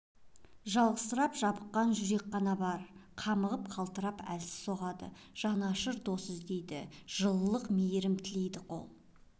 жалғызсырап жабыққан жүрек қана бар қамығып қалтырап әлсіз соғады жанашыр дос іздейді жылылық мейрім тілейді қол